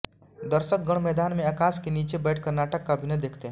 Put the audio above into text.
दर्शकगण मैदान में आकाश के नीचे बैठकर नाटक का अभिनय देखते हैं